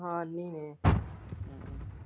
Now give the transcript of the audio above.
ਹਾਂ ਅੰਨੇ ਨੇ।